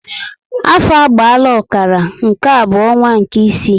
Afọ agbaala ọkara, nke a bu onwa nke ịsị